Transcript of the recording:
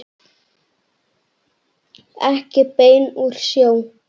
Ekki bein úr sjó.